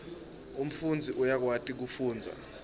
umfundzi uyakwati kufundza